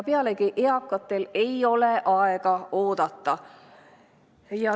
Pealegi, eakatel ei ole aega oodata.